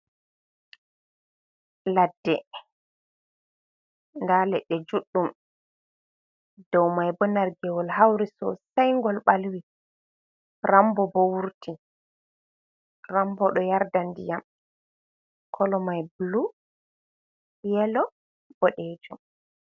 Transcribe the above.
Laɗɗe ɗa leɗɗe juɗɗum ɗou mai ɓo nargewol hauri sosai ngal balwi , ramɓo ɓo wurti ramɓo ɗo yarɗa diyam kolomai blu yelo ɓoɗejo.